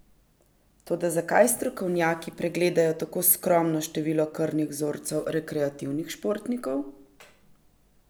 Toda zakaj strokovnjaki pregledajo tako skromno število krvnih vzorcev rekreativnih športnikov?